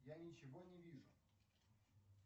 я ничего не вижу